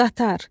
Qatar.